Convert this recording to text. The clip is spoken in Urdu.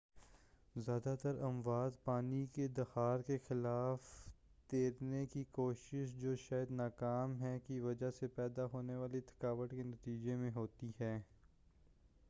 زیادہ تر اموات پانی کے دھار کے خلاف تیرنے کی کوشش جو شاید نا ممکن ہے کی وجہ سے پیدا ہونے والی تھکاوٹ کے نتیجے میں ہوتی ہیں